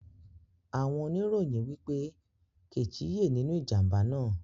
Àwon onirọ̀yìn wípé Kẹ́chì yẹ́ nínú ìjàmbá náà